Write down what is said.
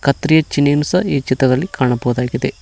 Three ಚಿನ್ಇನ್ಸ್ ಈ ಚಿತ್ರದಲ್ಲಿ ಕಾಣಬಹುದಾಗಿದೆ.